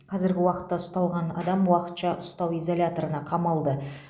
қазіргі уақытта ұсталған адам уақытша ұстау изоляторына қамалды